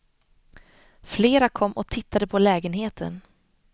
Flera kom och tittade på lägenheten.